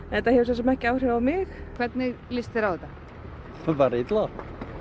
þetta hefur svo sem ekki áhrif á mig hvernig líst þér á þetta bara illa